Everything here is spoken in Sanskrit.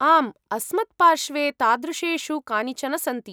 आम्, अस्मत्पार्श्वे तादृशेषु कानिचन सन्ति।